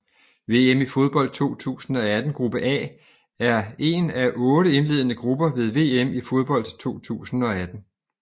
VM i fodbold 2018 gruppe A er en af otte indledende grupper ved VM i fodbold 2018